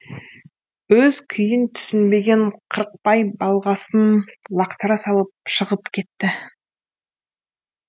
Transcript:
өз күйін түсінбеген қырықбай балғасын лақтыра салып шығып кетті